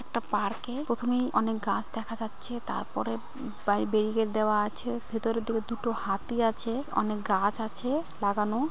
একটা পার্কে প্রথমেই অনেক গাছ দেখা যাচ্ছে। তারপরে বে ব্যারিগেট দেওয়া আছে। ভেতরে দু-দুটো হাতি আছে। অনেক গাছ আছে-এ লাগানো।